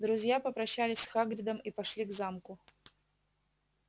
друзья попрощались с хагридом и пошли к замку